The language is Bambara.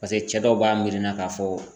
Paseke cɛ dɔw b'a miirina k'a fɔ.